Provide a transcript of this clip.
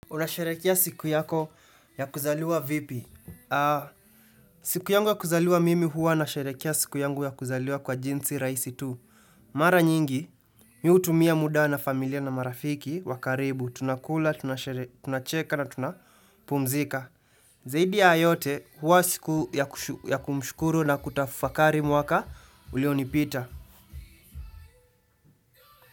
Unasherehekea siku yako ya kuzaliwa vipi? Siku yangu ya kuzaliwa mimi huwa unasherehekea siku yangu ya kuzaliwa kwa jinsi rahisi tu. Mara nyingi, mimi hutumia muda na familia na marafiki wa karibu. Tunakula, tunacheka na tunapumzika. Zaidi ya yote huwa siku ya kumshukuru na kutafakari mwaka ulionipita.